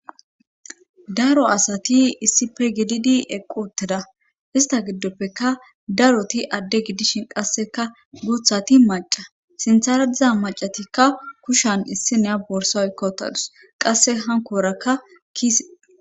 Daro asati issife gididi eqquoteda ista giddoppeka daroti adde gidishin qasseka guuthati maca sinthardiza macatikka kushan issineya borsa ykkowotadus qasse hankoorakka kiise.